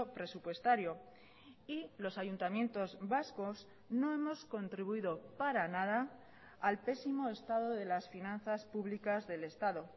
presupuestario y los ayuntamientos vascos no hemos contribuido para nada al pésimo estado de las finanzas públicas del estado